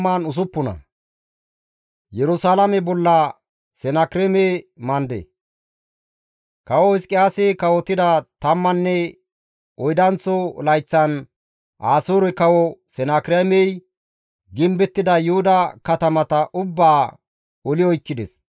Kawo Hizqiyaasi kawotida tammanne oydanththo layththan, Asoore kawo Senakireemey gimbettida Yuhuda katamata ubbaa oli oykkides.